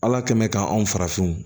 Ala kɛn bɛ k'an farafinw